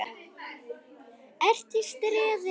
ERT Í STREÐI.